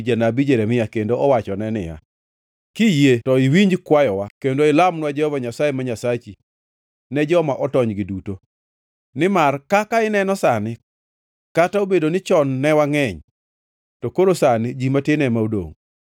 janabi Jeremia kendo owachone niya, “Kiyie to iwinj kwayowa kendo ilamnwa Jehova Nyasaye ma Nyasachi ne joma otonygi duto. Nimar kaka ineno sani, kata obedoni chon ne wangʼeny, to koro sani ji matin ema odongʼ.